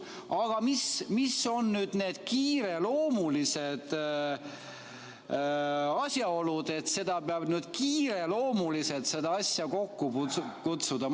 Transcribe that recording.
Aga mis on need kiireloomulised asjaolud, et peab nüüd kiireloomuliselt selle asja kokku kutsuma?